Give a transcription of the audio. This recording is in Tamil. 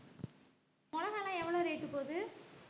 மிளகாலாம் எவ்வளவு rate உ போது